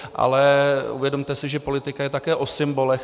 Ale uvědomte si, že politika je také o symbolech.